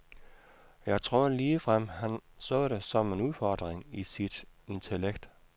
Jeg tror ligefrem han så det som en udfordring til sit intellekt.